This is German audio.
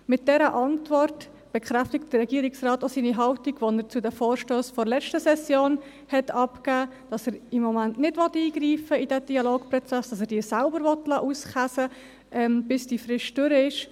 Mit dieser Antwort bekräftigt der Regierungsrat auch seine Haltung, die er zu den Vorstössen der letzten Session abgegeben hat, wonach er im Moment nicht in den Dialogprozess eingreifen will, weil er es diese selbst miteinander ausmachen lassen will, bis die Frist endet.